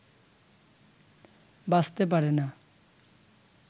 বাঁচতে পারে না